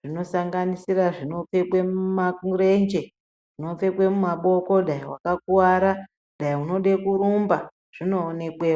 zvinosanganisira zvinobekwa muma zvinopfekwa mumaboko wakakuwara dai unoda kuita zvekurumba zvinoonekwa.